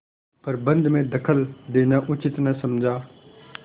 प्रबंध में दखल देना उचित न समझा